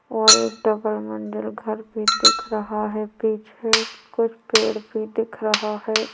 और एक डबल मंजिल घर भी दिख रहा है पीछे कुछ पेड़ भी दिख रहा है।